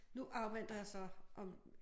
Nu afventer jeg så om